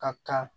Ka kan